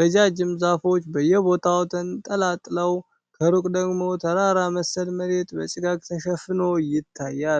ረጃጅም ዛፎች በየቦታው ተንጣለው፣ ከሩቅ ደግሞ ተራራ መሰል መሬት በጭጋግ ተሸፍኖ ይታያል።